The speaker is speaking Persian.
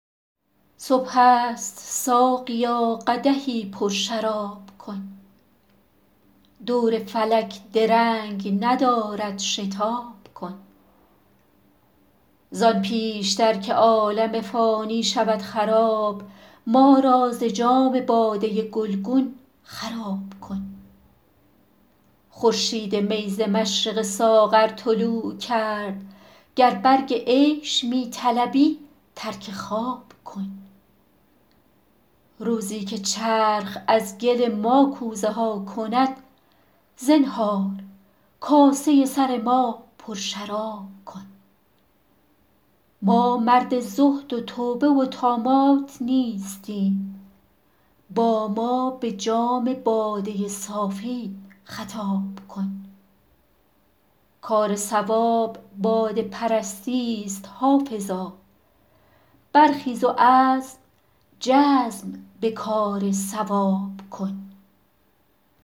صبح است ساقیا قدحی پرشراب کن دور فلک درنگ ندارد شتاب کن زان پیش تر که عالم فانی شود خراب ما را ز جام باده گلگون خراب کن خورشید می ز مشرق ساغر طلوع کرد گر برگ عیش می طلبی ترک خواب کن روزی که چرخ از گل ما کوزه ها کند زنهار کاسه سر ما پرشراب کن ما مرد زهد و توبه و طامات نیستیم با ما به جام باده صافی خطاب کن کار صواب باده پرستی ست حافظا برخیز و عزم جزم به کار صواب کن